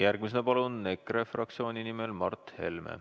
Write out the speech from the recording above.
Järgmisena palun EKRE fraktsiooni nimel Mart Helme.